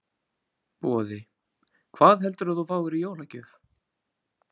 Boði: Hvað heldurðu að þú fáir í jólagjöf?